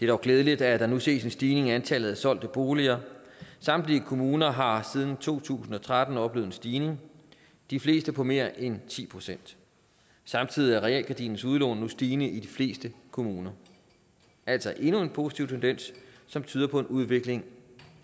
dog glædeligt at der nu ses en stigning i antallet af solgte boliger samtlige kommuner har siden to tusind og tretten oplevet en stigning de fleste på mere end ti procent samtidig er realkredittens udlån nu stigende i de fleste kommuner altså endnu en positiv tendens som tyder på en udvikling